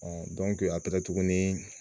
a taara tuguni